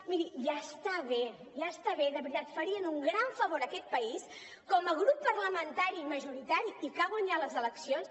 miri ja està bé ja està bé de veritat farien un gran favor a aquest país com a grup parlamentari majoritari i que ha guanyat les eleccions